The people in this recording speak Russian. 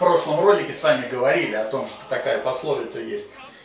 прошлом ролики сами говорили о том что такая пословица есть